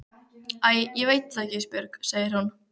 Æ ég veit það ekki Ísbjörg, segir hún.